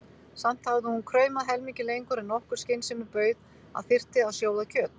Samt hafði hún kraumað helmingi lengur en nokkur skynsemi bauð að þyrfti að sjóða kjöt.